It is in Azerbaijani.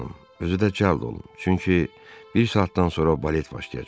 özü də cəld olun, çünki bir saatdan sonra balet başlayacaq.